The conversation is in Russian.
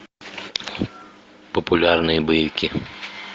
популярные боевики